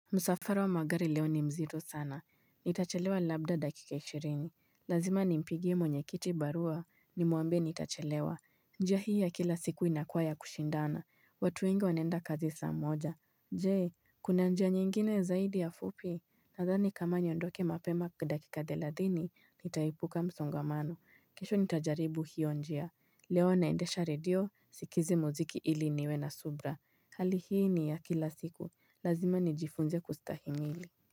Msafara wa magari leo ni mzito sana. Nitachelewa labda dakika ishirini. Lazima nimpigie mwenye kiti barua. Nimwambie nitachelewa. Njia hii ya kila siku inakua ya kushindana. Watu wengi wanaenda kazi saa moja. Jee, kuna njia nyingine zaidi ya fupi. Nadhani kama niondoke mapema dakika thelathini, nitaipuka msongamano. Kesho nitajaribu hiyo njia. Leo naendesha radio, sikize mziki ili niwe na subra. Hali hii ni ya kila siku. Lazima nijifunze kustahimili.